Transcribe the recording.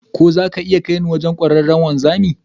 Ko za ka iya kai ni wajen kwararren wanzami?